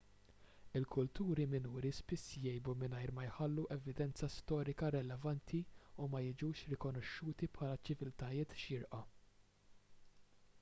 il-kulturi minuri spiss jgħibu mingħajr ma jħallu evidenza storika relevanti u ma jiġux rikonoxxuti bħala ċiviltajiet xierqa